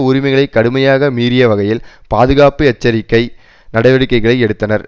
உரிமைகளை கடுமையாக மீறிய வகையில் பாதுகாப்பு எச்சரிக்கை நடவடிக்கைகளை எடுத்தனர்